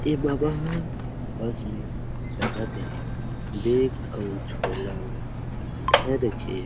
ए बाबा ह बस में चघत हे बैग अऊ झोला ला धर के--